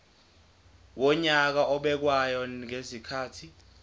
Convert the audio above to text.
wonyaka obekwayo ngezikhathi